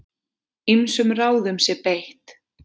Ýmsum ráðum sé beitt.